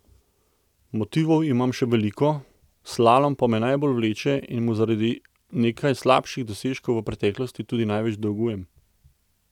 Motivov imam še veliko, slalom pa me najbolj vleče in mu zaradi nekaj slabših dosežkov v preteklosti tudi največ dolgujem.